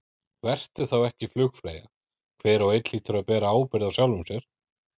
Vertu þá ekki flugfreyja, hver og einn hlýtur að bera ábyrgð á sjálfum sér.